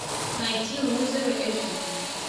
найти лузеры эш ди